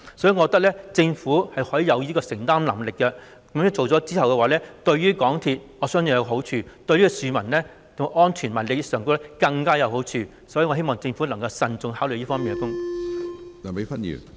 所以，我認為政府有此承擔能力，這樣做我相信對港鐵公司有好處，對市民的安全和利益更有好處，我希望政府能夠慎重考慮。